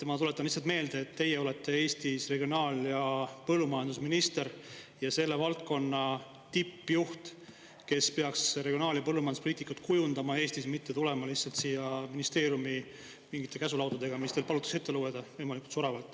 Ma tuletan lihtsalt meelde, et teie olete Eestis regionaal‑ ja põllumajandusminister ja selle valdkonna tippjuht, kes peaks regionaal‑ ja põllumajanduspoliitikat kujundama Eestis, mitte tulema lihtsalt siia ministeeriumi mingite käsulaudadega, mis teil palutakse ette lugeda võimalikult soravalt.